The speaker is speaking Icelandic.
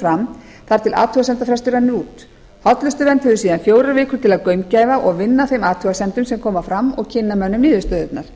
fram þar til athugasemdafrestur rennur út hollustuvernd hefur síðan fjórar vikur til að gaumgæfa og vinna að þeim athugasemdum sem koma fram og kynna mönnum niðurstöður